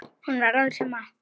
Honum var alveg sama.